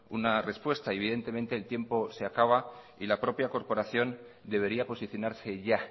una respuesta y evidentemente el tiempo se acaba y la propia corporación debería posicionarse ya